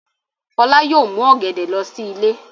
Fọlá yóò mú ọ̀gẹ̀dẹ̀ lọ sí ilé.